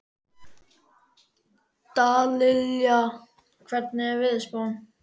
Dallilja, hvernig er veðurspáin?